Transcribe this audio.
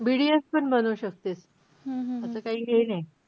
BDS पण बनू शकतेस. तस काही हे नाही.